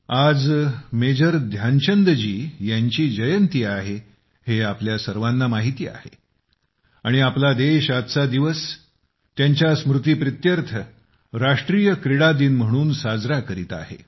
आज मेजर ध्यानचंद जी यांची जयंती आहे हे आपल्या सर्वांना माहिती आहे आणि आपला देश त्यांच्या स्मृतीप्रीत्यर्थ राष्ट्रीय क्रीडा दिन म्हणून साजरा करीत आहे